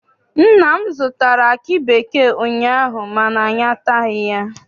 Nna m zụtara aki bekee ụnyaahụ mana anyị ataghị ya.